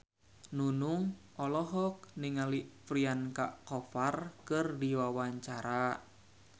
Nunung olohok ningali Priyanka Chopra keur diwawancara